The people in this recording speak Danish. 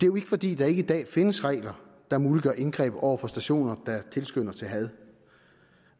jo ikke fordi der ikke i dag findes regler der muliggør indgreb over for stationer der tilskynder til had